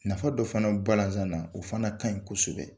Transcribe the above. Nafa dɔ fana bi balazan na, o fana kaɲi kosɛbɛ.